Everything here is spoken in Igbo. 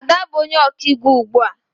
Ada bụ onye ọkaiwu ugbu a